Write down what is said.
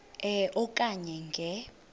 e okanye nge